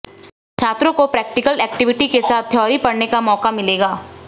छात्रों को practical activity के साथ थ्योरी पढ़ने का मौका मिलेगा